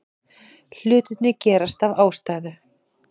Hlutirnir gerast af ástæðu.